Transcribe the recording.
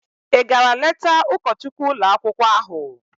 Ị gara leta ụkọchukwu ụlọakwụkwọ ahụ?